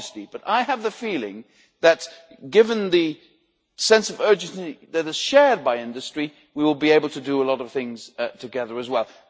But I have the feeling that given the sense of urgency that is shared by industry, we will be able to do a lot of things together as well.